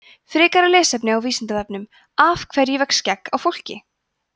frekara lesefni á vísindavefnum af hverju vex skegg á fólki